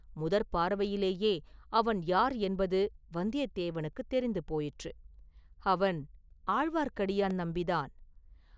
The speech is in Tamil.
முதற் பார்வையிலேயே அவன் யார் என்பது வந்தியத்தேவனுக்குத் தெரிந்து போயிற்று; அவன் ஆழ்வார்க்கடியான் நம்பி தான்.